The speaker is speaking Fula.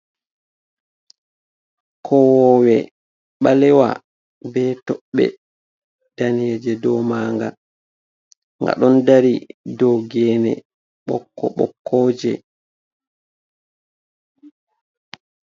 Kowowe balewa be tobbe daneje do maga, ga don dari do gene bokko bokkoji.